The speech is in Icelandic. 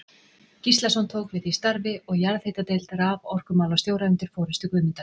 Gíslason tók við því starfi, og jarðhitadeild raforkumálastjóra undir forystu Guðmundar